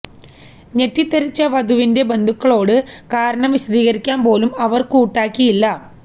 ഞെട്ടിത്തരിച്ച വധുവിന്റെ ബന്ധുക്കളോട് കാരണം വിശദീകരിക്കാന് പോലും അവര് കൂട്ടാക്കിയില്ല